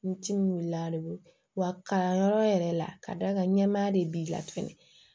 N timinandun wa kalanyɔrɔ yɛrɛ la ka d'a ka ɲɛnamaya de b'i la tuguni